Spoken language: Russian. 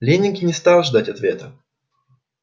лэннинг не стал ждать ответа